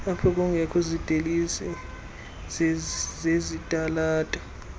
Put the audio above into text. aphokungekho zidilesi zezitalato